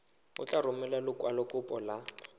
o tla romela lekwalokopo la